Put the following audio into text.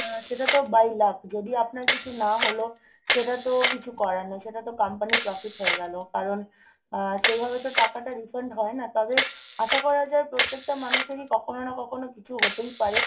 উম সেটা তো by luck যদি আপনার কিছু না হলো সেটা তো কিছু করার নেই. সেটা তো company র profit হয়ে গেলো। কারণ আহ সেভাবে তো টাকাটা refund হয় না। তবে আশা করা যায় প্রত্যেকটা মানুষেরই কখনো না কখনো কিছু হতেই পারে,